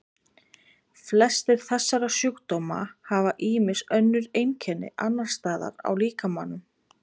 flestir þessara sjúkdóma hafa ýmis önnur einkenni annars staðar á líkamanum